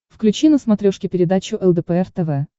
включи на смотрешке передачу лдпр тв